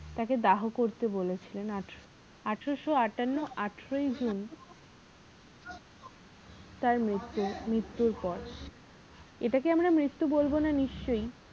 তাকে দাহ করতে বলেছিলেন আঠারোশ আটান্ন আঠারোই জুন তার মৃত্যু মৃত্যুর পর এটাকে আমরা মৃত্যু বলবোনা নিশ্চই